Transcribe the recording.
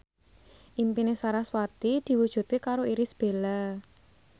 impine sarasvati diwujudke karo Irish Bella